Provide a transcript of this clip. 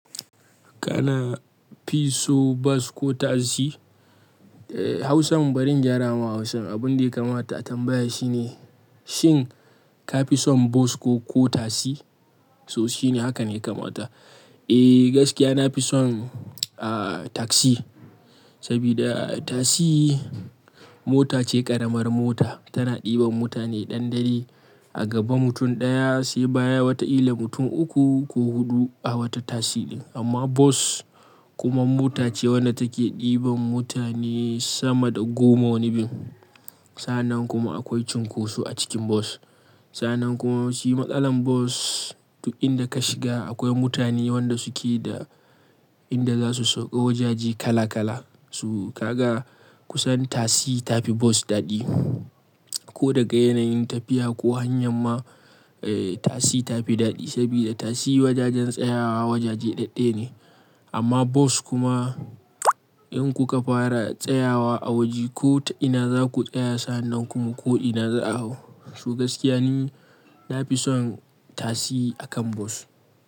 Kana fi so bas ko tasi? Eh, Hausan barin gyara ma Hausan abun da ya kamata a tambaya shine, shin ka fi son bas ko, ko tasi? So shine haka ne ya kamata. Eh gaskiya na fi son, ah, tasi. Sabida tasi mota ce ƙaramar mota. Tana ɗiban mutane dan daidai. A gaba mutum ɗaya, sai baya wata ita mutum uku ko huɗu a wata tasi ɗin. Amma bas kuma mota ce wadda take ɗiban mutane sama da goma wani bin. Sa'anan kuma akwai cunkoso a cikin bas. Sa'anan kuma shi matsalar bas, du in da ka shiga akwai mutane wanda suke da, inda za su sauka wajaje kala kala. So kaga kusan tasi ta fi bas daɗi. Ko daga yanayin tafiya ko hanyar ma, eh tasi ta fi daɗi. Sabida tasi wajajen tsayawa wajaje ɗaɗɗaye ne. Amma bas kuma in kuka fara tsayawa a waje ko ina za ku tsaya sa'nan kuma ko ina za a hau. Su gaskiya ni na fi son tasi akan bas.